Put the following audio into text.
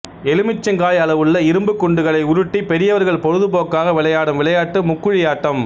எலுமிச்சங்காய் அளவுள்ள இரும்புக் குண்டுகளை உருட்டிப் பெரியவர்கள் பொழுதுபோக்காக விளையாடும் விளையாட்டு முக்குழியாட்டம்